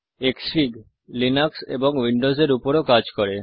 ক্সফিগ Linux এবং Windows এর উপর ও কাজ করে